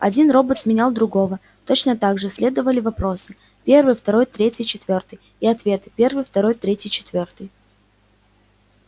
один робот сменял другого точно так же следовали вопросы первый второй третий четвёртый и ответы первый второй третий четвёртый